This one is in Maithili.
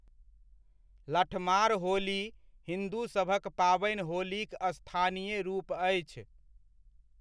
लठमार होली हिन्दूसभक पाबनि होलीक स्थानीय रूप अछि।